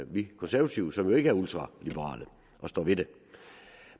vi konservative som jo ikke er ultraliberale og står ved det